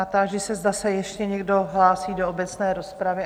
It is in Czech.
A táži se, zda se ještě někdo hlásí do obecné rozpravy?